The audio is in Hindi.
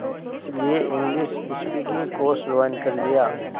इसलिए इंग्लिश स्पीकिंग कोर्स ज्वाइन कर लिया